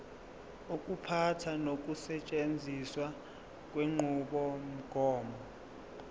ukuphatha nokusetshenziswa kwenqubomgomo